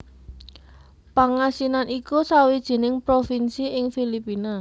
Pangasinan iku sawijining provinsi ing Filipina